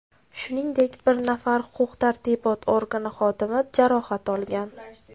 Shuningdek, bir nafar huquq-tartibot organi xodimi jarohat olgan.